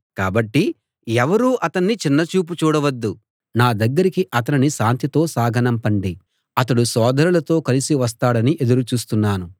కాబట్టి ఎవరూ అతన్ని చిన్న చూపు చూడవద్దు నా దగ్గరికి అతనిని శాంతితో సాగనంపండి అతడు సోదరులతో కలిసి వస్తాడని ఎదురు చూస్తున్నాను